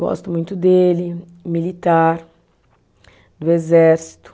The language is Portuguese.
Gosto muito dele, militar, do exército.